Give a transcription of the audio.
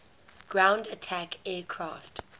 ground attack aircraft